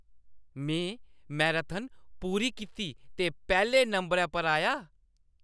में मैराथन पूरी कीती ते पैह्‌ले नंबरै पर आया।